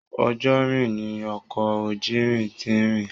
Ojúrin ní ọkọ ojúrin tí n rìn.